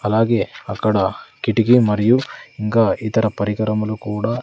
అలాగే అక్కడ కిటికీ మరియు ఇంకా ఇతర పరికరములు కూడా.